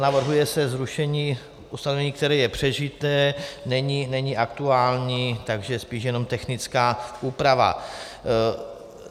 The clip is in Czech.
Navrhuje se zrušení ustanovení, které je přežité, není aktuální, takže spíše jenom technická úprava.